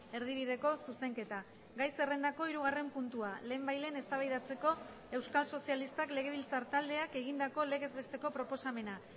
erdibideko zuzenketa gai zerrendako hirugarren puntua lehenbailehen eztabaidatzeko euskal sozialistak legebiltzar taldeak egindako legez besteko proposamena